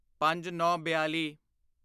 ਪੰਜਨੌਂਬਿਆਲੀ